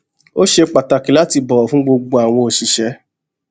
ó ṣe pàtàkì láti bọwọ fún gbogbo àwọn òṣìṣẹ